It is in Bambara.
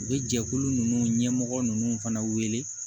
U bɛ jɛkulu ninnu ɲɛmɔgɔ ninnu fana wele